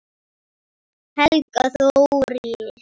Helga Þóris.